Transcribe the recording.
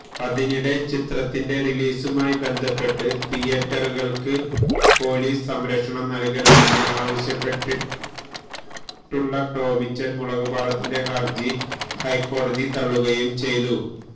അതിനിടെ ചിത്രത്തിന്റെ റിലീസുമായി ബന്ധപ്പെട്ട് തിയേറ്ററുകൾക്ക് പൊലീസ് സംരക്ഷണം നൽകണമെന്ന് ആവശ്യപ്പെട്ടുള്ള ടോമിച്ചൻ മുളകുപാടത്തിന്റെ ഹർജി ഹൈക്കോടതി തള്ളുകയും ചെയ്തു